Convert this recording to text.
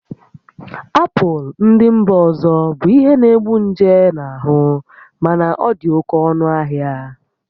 Apụl ndị mba ọzọ bụ ihe na-egbu nje na ahụ mana ọ dị oke ọnụ ahịa